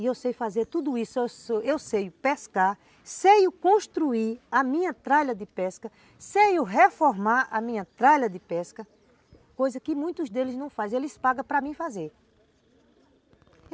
E eu sei fazer tudo isso, eu sei pescar, sei construir a minha tralha de pesca, sei reformar a minha tralha de pesca, coisa que muitos deles não fazem, eles pagam para mim fazer.